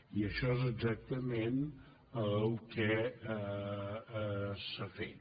i això és exactament el que s’ha fet